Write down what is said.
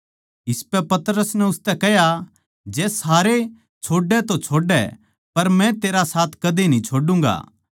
इसपै पतरस नै उसतै कह्या जै सारे छोड़ै तो छोड़ै पर मै तेरा साथ कदे न्ही छोडुंगा